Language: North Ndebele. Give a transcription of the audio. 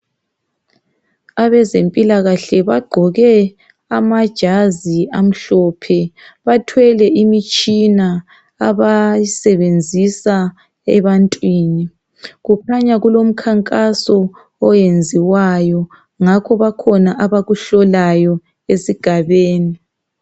Abezempilakahle bagqoke amajazi amhlophe. Bathwele imitshina abayisebenzisa ebantwini. Kukhanya kulomkhankaso oyenziwayo ngakho bakhona abakuhlolayo esigabani.